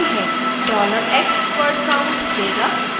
$dollar x word count देगा